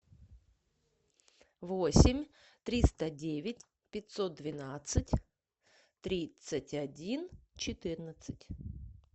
восемь триста девять пятьсот двенадцать тридцать один четырнадцать